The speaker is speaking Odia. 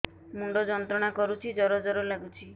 ମୁଣ୍ଡ ଯନ୍ତ୍ରଣା କରୁଛି ଜର ଜର ଲାଗୁଛି